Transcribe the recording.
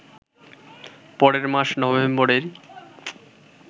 পরের মাস নভেম্বরেই